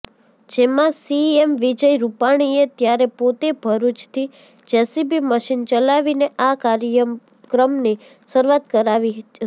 જેમાં સીએમ વિજય રુપાણીએ ત્યારે પોતે ભરુચથી જેસીબી મશીન ચલાવીને આ કાર્યક્રમની શરુઆત કરાવી હતી